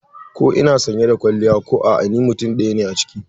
Ko ina sanye da kwalliya ko a'a ni mutum ɗaya ne a ciki.